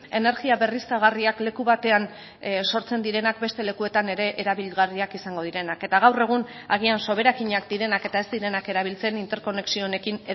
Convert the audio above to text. energia berriztagarriak leku batean sortzen direnak beste lekuetan ere erabilgarriak izango direnak eta gaur egun agian soberakinak direnak eta ez direnak erabiltzen interkonexio honekin